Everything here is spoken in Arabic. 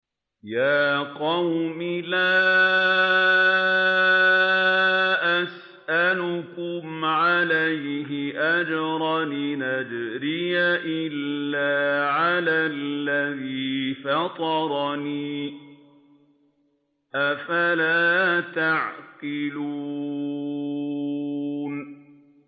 يَا قَوْمِ لَا أَسْأَلُكُمْ عَلَيْهِ أَجْرًا ۖ إِنْ أَجْرِيَ إِلَّا عَلَى الَّذِي فَطَرَنِي ۚ أَفَلَا تَعْقِلُونَ